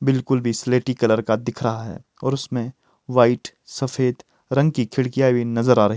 बिल्कुल भी स्लेटी कलर का दिख रहा है और उसमें वाइट सफेद रंग की खिड़कियाँ भी नज़र आ र --